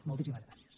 moltíssimes gràcies